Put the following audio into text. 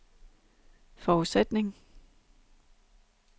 forudsætning